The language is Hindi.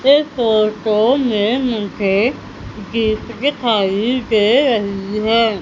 इस फोटो में मुझे गिफ्ट दिखाई दे रही है।